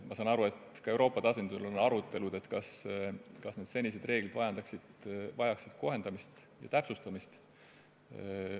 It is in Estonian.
Ma saan aru, et ka Euroopa tasandil on arutletud, kas senised reeglid vajaksid kohendamist või täpsustamist.